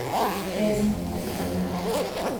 Keskan wa dhib badhanahy.